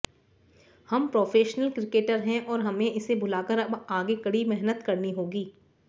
हम professional cricketer हैं और हमें इसे भुलाकर अब आगे कड़ी मेहनत करनी होगी